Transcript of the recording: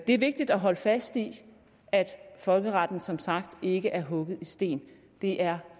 er vigtigt at holde fast i at folkeretten som sagt ikke er hugget i sten det er